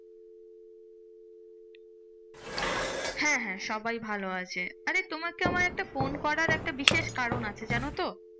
হ্যাঁ হ্যাঁ সবাই ভালো আছে। আরে তোমাকে আমার একটা ফোন করার একটা বিশেষ কারণ আছে জানতো?